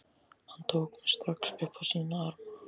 Hann tók mig strax upp á sína arma.